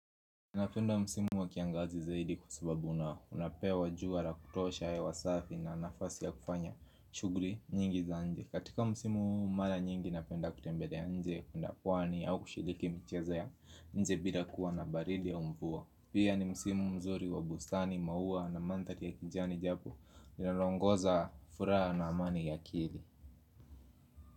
Napenda msimu wa kiangazi zaidi kwa sababu unapewa jua la kutosha hewa safi na nafasi ya kufanya shughuli nyingi za nje. Katika msimu huu mara nyingi napenda kutembelea nje, kuenda pwani au kushiriki mchezo ya nje bila kuwa na baridi au mvua. Pia ni msimu mzuri wa bustani, maua na manthari ya kijani japu. Ninalongoza furaha na amani ya akili.